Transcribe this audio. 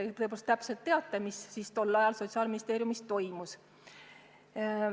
Seega te teate täpselt, mis tol ajal Sotsiaalministeeriumis toimus.